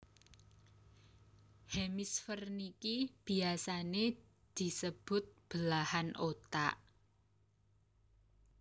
Hemisfer niki biasane disebut belahan otak